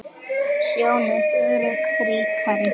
Sjón er sögu ríkari.